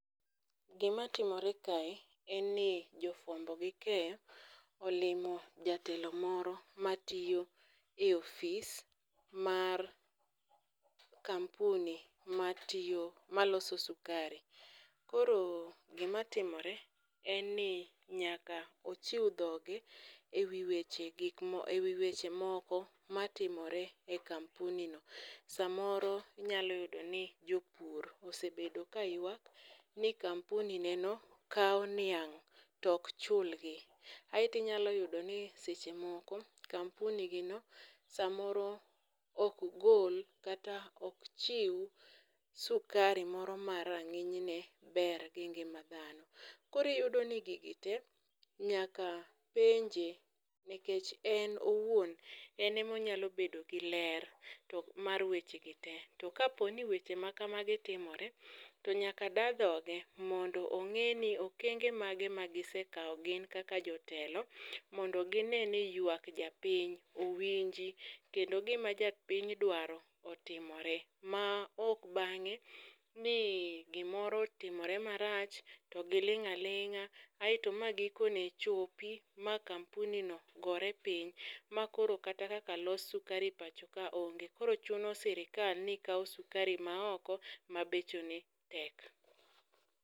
Gima timore kae en ni jofwambo gi keyo olimo jatelo moro matiyo e ofis mar kampuni maloso sukari. Koro gima timore en ni nyaka ochiw dhoge e wi weche moko matimore e kampuni no. Samoro inyalo yudo ni jopur osebedo ka yuak ni kampuni neno kaw niang' tok chul gi. Aeto inyalo yudo ni seche moko kampunigi no samoro ok gol kata ok chiw sukari moro ma rang'iny ne ber gi ngima dhano. Koro iyudo ni gigi te nyaka penje nikech en owuon en emonyalo bedo gi ler tok mar weche gi te. To ka opo ni weche ma kamagi timore to nyaka da dhoge mondo ong'e ni okenge ma gise kaw gin kaka jotelo mondo gine ni yuak japiny owinji kendo gima jopiny dwaro otimore. Ma ok bang'e ni gimoro otimore marach to giling' alin'ga aeto gikone chopi ma kampuni no gore piny. Ma koro kata kaka los sukari e pinya ka onge koro chuni sirikal ni kaw sukari ma oko mabeche ne tek.